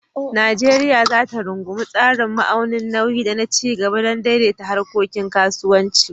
Najeriya za ta rungumi tsarin ma'aunin nauyi da na ci gaba don daidaita harkokin kasuwanci.